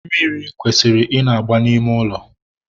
mmiri kwesịrị ị na-agba n'ime ụlọ.